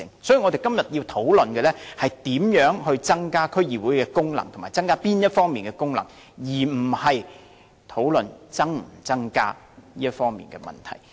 所以，我們今天要討論的是如何增加區議會的功能，以及增加哪方面的功能，而不是討論應否增加這些功能。